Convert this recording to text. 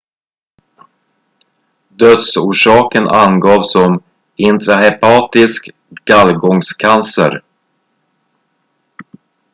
dödsorsaken angavs som intrahepatisk gallgångscancer